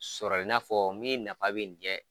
Sɔrɔli i n'a fɔ min nafa bɛ nin .